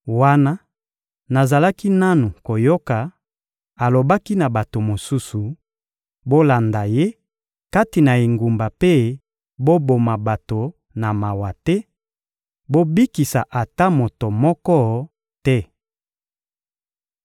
Wana nazalaki nanu koyoka, alobaki na bato mosusu: «Bolanda ye kati na engumba mpe boboma bato na mawa te, bobikisa ata moto moko te!